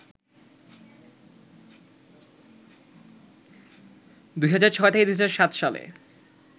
২০০৬-০৭ সালে